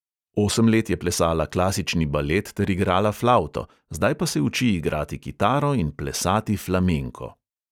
Osem let je plesala klasični balet ter igrala flavto, zdaj pa se uči igrati kitaro in plesati flamenko.